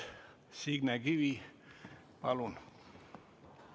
Signe Kivi, palun!